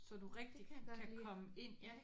Det kan jeg godt lide ja